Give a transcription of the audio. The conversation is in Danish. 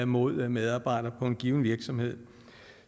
mod medarbejdere på en given virksomhed